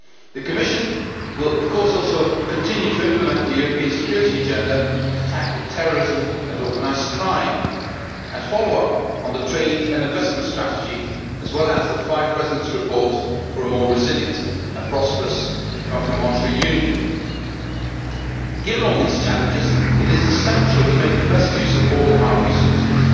The Commission will, of course, also continue to implement the European security agenda to tackle terrorism and organised crime and follow up on the trade and investment strategy as well as the Five Presidents' report for a more resilient and prosperous economic and monetary union. Given all these challenges, it is essential to make the best use of all our resources.